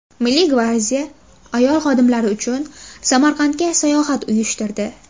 Milliy gvardiya ayol xodimlari uchun Samarqandga sayohat uyushtirdi.